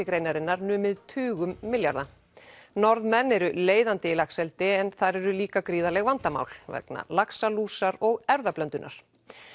greinarinnar numið tugum milljarða Norðmenn eru leiðandi í laxeldi en þar eru líka gríðarleg vandamál vegna laxalúsar og erfðablöndunar